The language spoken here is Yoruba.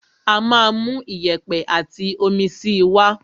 Á máa mú iyẹ̀pẹ̀ àti omi síi wá.